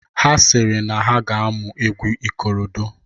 Ha sị na ha ga-amụ egwu ikorodo.